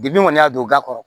Depi kɔni y'a don ga kɔrɔ